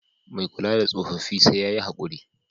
Mai kula da tsofaffi sai ya yi haƙuri.